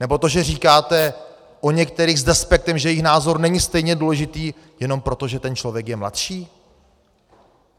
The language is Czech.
Nebo to, že říkáte o některých s despektem, že jejich názor není stejně důležitý, jenom proto, že ten člověk je mladší?